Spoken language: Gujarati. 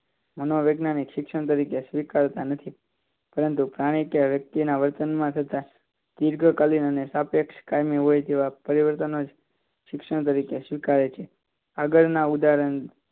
મનોવિજ્ઞાનિક શિક્ષણ તરીકે સ્વીકારતા નથી પરંતુ પ્રાણી કે વ્યક્તિમાં થતા પરિવર્તન ત્રિગકલી અને સાપેક્ષ કાયમી હોય તેવા પરિવર્તન જ શિક્ષણ તરીકે સ્વીકારે છે આગળના ઉદાહરણ